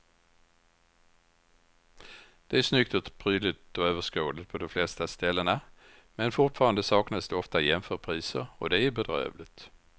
Det är snyggt, prydligt och överskådligt på de flesta ställena men fortfarande saknas det ofta jämförpriser och det är bedrövligt.